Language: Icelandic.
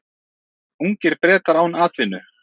Ungir Bretar án atvinnu